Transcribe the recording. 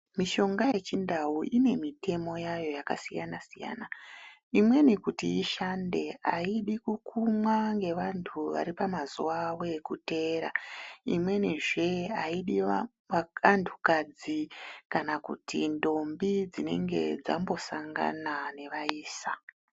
Mishonga yechindau ine mitemo yayo yakasiyana siyana imweni kuti ishande haidi kukumwa nevantu varipamazuva avo ekuteera imweni zvee haidi vanhu kadzi kana kuti ndombi dzinenge dzambosangana nevaisa .